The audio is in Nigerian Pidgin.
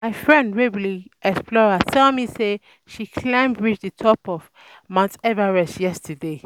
My friend wey be explorer tell me say she climb reach the um top of mount Everest yesterday